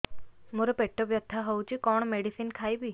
ମୋର ପେଟ ବ୍ୟଥା ହଉଚି କଣ ମେଡିସିନ ଖାଇବି